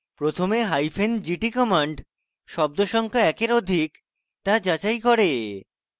প্রথমে hyphen gt command শব্দ সংখ্যা একের অধিক তা যাচাই করে